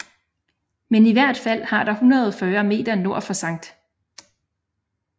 Men i hvert fald har der 140 meter nord for Skt